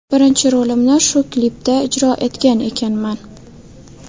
Birinchi rolimni shu klipda ijro etgan ekanman.